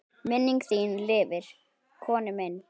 Minning þín lifir, Konni minn.